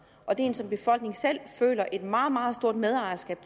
og er en som befolkningen selv føler et meget meget stort medejerskab